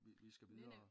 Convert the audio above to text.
Vi skal videre